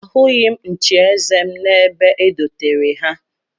Ahụghị m nchieze m n'ebe e dotere ha